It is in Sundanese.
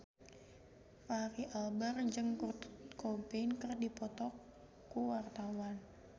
Fachri Albar jeung Kurt Cobain keur dipoto ku wartawan